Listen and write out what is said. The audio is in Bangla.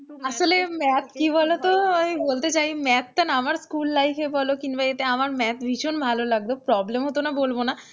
আসলে math কি বলতো আমি বলতে চাই math টা না আমার school life এ বলো কিংবা এতে আমার math ভীষণ ভালো লাগতো problem হতো না বলব না,